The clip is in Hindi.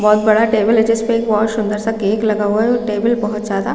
बहुत बड़ा टेबल है जिसपे एक बहुत सुन्दर सा केक लगा हुआ है और टेबल बहुत ज्यादा--